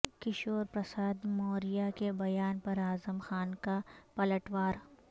کیشو پرساد موریہ کے بیان پر اعظم خان کا پلٹ وار